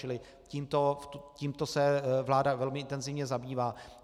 Čili tímto se vláda velmi intenzivně zabývá.